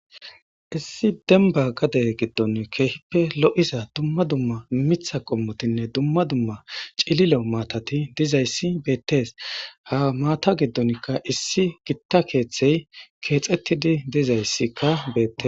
Issi denba gade gidoni kehippe loiza dumma dumma mita qomotine dumma dumma cililo matati di'izayisi betes ha mata gidonika issi gita keeththa kexetidi dizayisika bete.